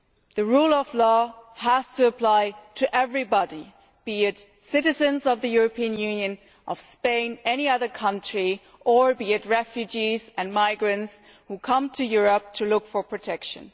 The rule of law has to apply to everybody, be they citizens of the European Union, of Spain or of any other country, or be they refugees and migrants who come to Europe to look for protection.